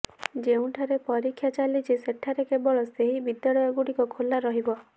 ଯେଉଁଠାରେ ପରୀକ୍ଷା ଚାଲିଛି ସେଠାରେ କେବଳ ସେହି ବିଦ୍ୟାଳୟଗୁଡ଼ିକ ଖୋଲା ରହିବ